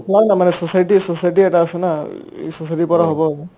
মানে society society এটা আছে না এই society ৰ পৰা হ'ব আৰু